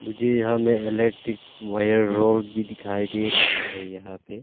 मुझे यह हमें इलेक्ट्रिक वायर रॉड भी दिखाई दे रहा है यहां पे।